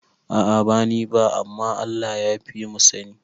A'a bansa ni ba, amma Allah yafimu sani